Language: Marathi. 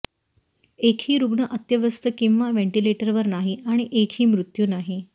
एकही रुग्ण अत्यवस्थ किंवा व्हेंटिलेटरवर नाही आणि एकही मृत्यू नाही